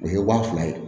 O ye wa fila ye